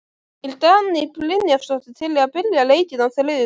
Er Dagný Brynjarsdóttir til í að byrja leikinn á þriðjudag?